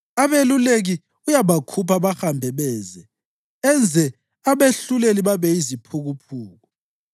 Abeluleki uyabakhupha bahambe beze enze abehluleli babe yiziphukuphuku.